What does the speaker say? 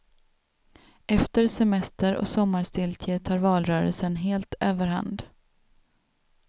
Efter semester och sommarstiltje tar valrörelsen helt överhand.